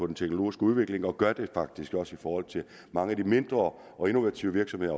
den teknologiske udvikling det gør de faktisk også i forhold til mange af de mindre og innovative virksomheder